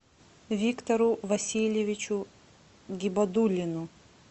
виктору васильевичу гибадуллину